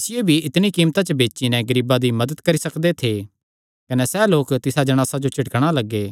इसियो भी इतणी कीमता च बेची नैं गरीबां दी मदत करी सकदे थे कने सैह़ लोक तिसा जणासा जो झिड़कणा लग्गे